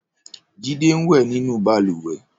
Jide n wẹ̀ ninú bàlùwẹ̀